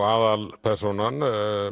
aðalpersónan